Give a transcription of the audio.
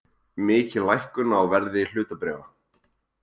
Mikil lækkun á verði hlutabréfa